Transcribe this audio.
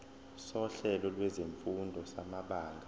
sohlelo lwezifundo samabanga